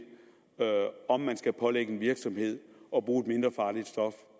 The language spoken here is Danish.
om man skal pålægge en virksomhed